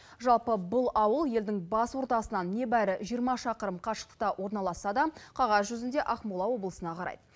жалпы бұл ауыл елдің бас ордасынан небәрі жиырма шақырым қашықта орналасса да қағаз жүзінде ақмола облысына қарайды